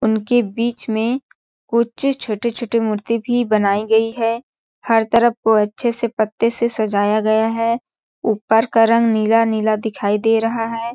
उनके बीच में कुछ छोटे-छोटी मूर्ति भी बनाई गई है हर तरफ को अच्छे से पत्ते से सजाया गया है ऊपर का रंग नीला नीला दिखाई दे रहा है।